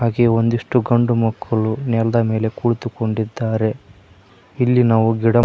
ಈ ಒಂದಿಷ್ಟು ಗಂಡು ಮಕ್ಕಳು ನೆಲ್ದ ಮೇಲೆ ಕುಳಿತುಕೊಂಡಿದ್ದಾರೆ ಇಲ್ಲಿ ನಾವು ಗಿಡ--